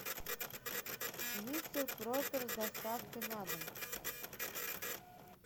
мистер пропер с доставкой на дом